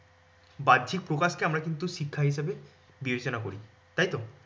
বাহ্যিক প্রকাশকে আমরা কিন্তু শিক্ষা হিসেবে বিবেচনা করি। তাই তো?